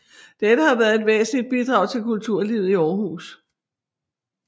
Dette har været et væsentligt bidrag til kulturlivet i Aarhus